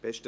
Besten